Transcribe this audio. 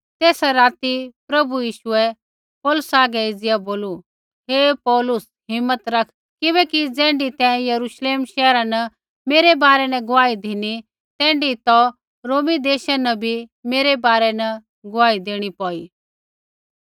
तेसा राती प्रभु यीशुऐ पौलुसा हागै एज़िया बोलू हे पौलुस हिम्मत रख किबैकि ज़ैण्ढी तैं यरूश्लेम शैहरा न मेरै बारै न गुआही धिनी तैण्ढी तौ रोम देशा न बी मेरै बारै न गुआही देणी पौई